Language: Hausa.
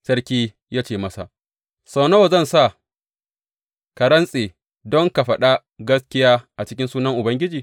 Sarki ya ce masa, Sau nawa zan sa ka rantse don ka faɗa gaskiya a cikin sunan Ubangiji?